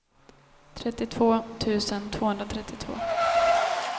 trettiotvå tusen tvåhundratrettiotvå